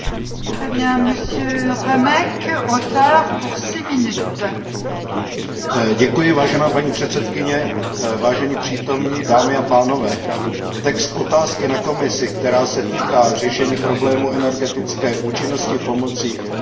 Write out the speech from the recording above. Vážená paní předsedkyně, vážení přítomní, dámy a pánové, text otázky na Komisi, která se týká řešení problémů energetické účinnosti pomocí informačních a komunikačních technologií máte k dispozici, a tak mi dovolte pár poznámek.